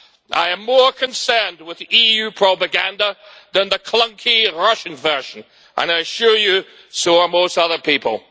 I am more concerned with EU propaganda than the clunky Russian version, and I assure you so are most other people.